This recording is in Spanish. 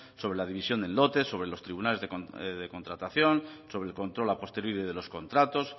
sobre la división de lotes sobre los tribunales de contratación sobre el control a posteriori de los contratos